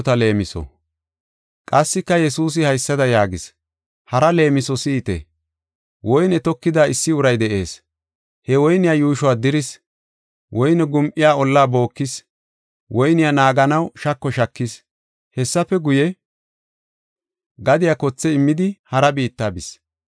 Qassika Yesuusi haysada yaagis; “Hara leemiso si7ite, woyne tokida issi uray de7ees. He woyniya yuushuwa diris. Woyne gum7iya olla bookis. Woyniya naaganaw shako shaakis. Hessafe guye, gadiya kothe immidi hara biitta bis.